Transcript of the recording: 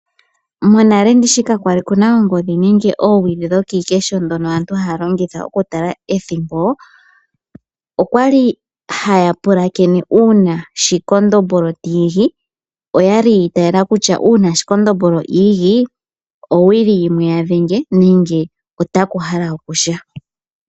Monale ndishi ka kwali kuna oongodhi nenge oowili dhono dho kiikesho dhono aantu haya longitha oku tala ethimbo, okwali haya oulakene uuna shikondombolo tiigi, okwali yiitayela kutya uuna shikondombolo iigi owuli yimwe yadhenge, nenge otaku hala oku sha.